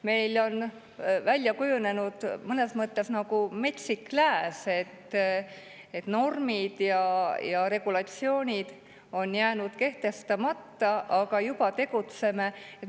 Meil on välja kujunenud mõnes mõttes nagu metsik lääs, et normid ja regulatsioonid on jäänud kehtestamata, aga juba tegutseme.